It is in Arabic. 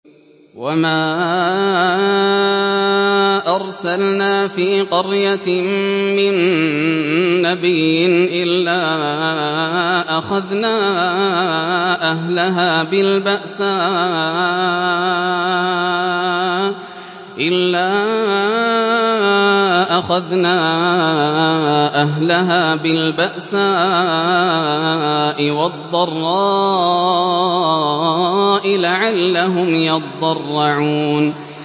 وَمَا أَرْسَلْنَا فِي قَرْيَةٍ مِّن نَّبِيٍّ إِلَّا أَخَذْنَا أَهْلَهَا بِالْبَأْسَاءِ وَالضَّرَّاءِ لَعَلَّهُمْ يَضَّرَّعُونَ